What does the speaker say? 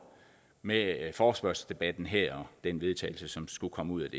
med forespørgselsdebatten her den vedtagelse som skulle komme ud